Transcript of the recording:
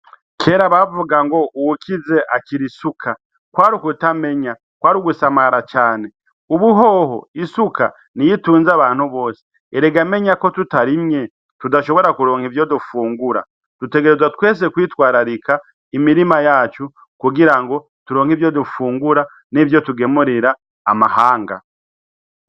Kera bavuga ngo uwukize akira isuka kwari ukutamenya kwari ugusamara cane ubuhoho isuka ni yitunze abantu bose erega menya ko tutarimye tudashobora kuronka ivyo dufungura dutegerezwa twese kwitwararika imirima yacu kugira ngo turonka ivyo dufungura n'ivyo gemurira amahanga.